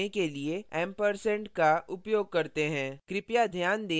हम prompt को मुक्त करने के लिए ampersand & का उपयोग करते हैं